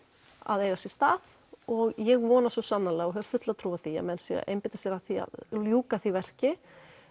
að eiga sér stað og ég vona svo sannarlega og hef fulla trú á því að menn séu að einbeita sér að því að ljúka því verki